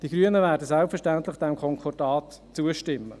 Die Grünen werden diesem Konkordat selbstverständlich zustimmen.